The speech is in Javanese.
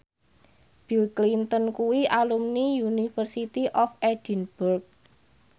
Bill Clinton kuwi alumni University of Edinburgh